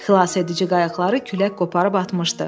Xilasedici qayıqları külək qoparıb atmışdı.